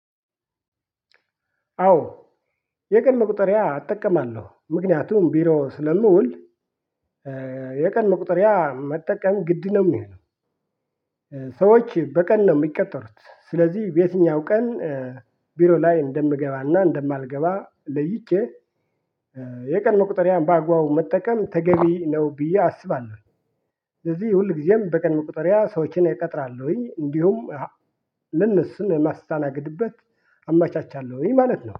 አዎ የቀድሞ ቁጥር ያ እጠቀማለሁ ምክንያቱም ቢሮ ስለምውል የቀን መቁጠሪያ መጠቀም ግድ ነው ሚሆነው። ሰዎች በቀን ነው ሚቀጠሩት ስለዚህ በየትኛው ቀን ቢሮ ላይ እንደምገባና እንደማልገባ ለይቼ የቀን መቁጠሪያ በአግባቡ መጠቀም ተገቢ ነው ብዬ አስባለሁ። ስለዚህ ሁል ጊዜም በቀን መቁጠሪያ ሰዎችን እቀጥራለሁኝ እንዲሁም ለነሱን ማስታናግድበት አመቻቻለሁኝ ማለት ነው።